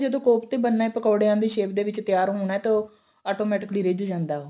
ਜਦੋਂ ਕੋਫਤੇ ਕੋਫਤੇ ਬਣਨਾ ਏ ਪਕੋੜਿਆ ਦੀ shape ਦੇ ਵਿੱਚ ਤਿਆਰ ਹੋਣਾ ਤਾਂ ਉਹ automatically ਰਿੱਝ ਜਾਂਦਾ ਉਹ